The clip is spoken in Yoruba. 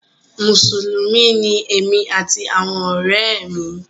Mùsùlùmí ni èmi àti àwọn ọ̀rẹ́ mi.